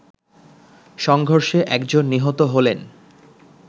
সংঘর্ষে একজন নিহত হলেন